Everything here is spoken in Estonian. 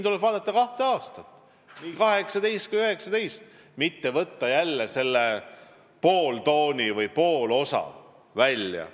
Tuleb vaadata kahte aastat – nii 2018 kui ka 2019 –, mitte võtta jälle sealt poolt osa välja.